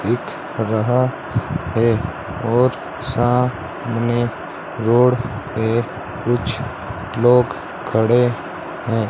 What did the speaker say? दिख रहा है और सामने रोड पे कुछ लोग खड़े हैं।